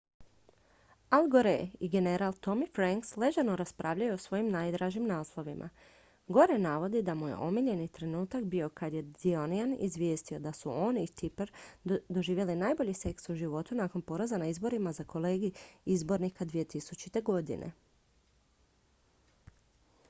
al gore i general tommy franks ležerno raspravljaju o svojim najdražim naslovima gore navodi da mu je omiljeni trenutak bio kad je the onion izvijestio da su on i tipper doživjeli najbolji seks u životu nakon poraza na izborima za kolegij izbornika 2000. godine